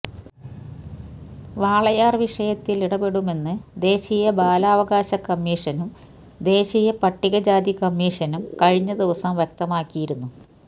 വാളയാർ വിഷയത്തിൽ ഇടപെടുമെന്ന് ദേശീയ ബലാവകാശ കമ്മീഷനും ദേശീയ പട്ടിക ജാതി കമ്മീഷനും കഴിഞ്ഞ ദിവസം വ്യക്തമാക്കിയിരുന്നു